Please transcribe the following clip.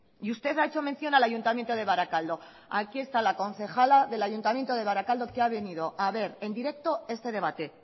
y usted ha hecho mención al ayuntamiento de barakaldo aquí está la concejala del ayuntamiento de barakaldo que ha venido a ver en directo este debate